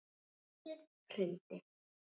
Loftið hrundi.